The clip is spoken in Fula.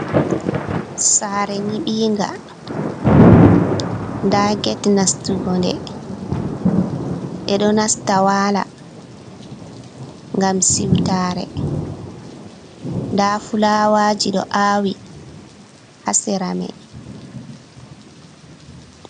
Saare nƴiɓinga, nda get nastugo nde. Ɓe ɗo nasta waala, ngam siwtare. Nda fulawaaji ɗo aawi haa sera mai.